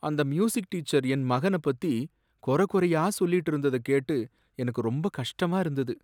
அந்த music teacher என் மகனப்பத்தி குறை குறையா சொல்லிட்டு இருந்தத கேட்டு எனக்கு ரொம்ப கஷ்டமா இருந்தது.